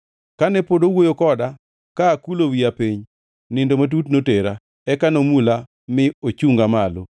Kane pod owuoyo koda ka akulo wiya piny, nindo matut notera. Eka nomula mi ochunga malo.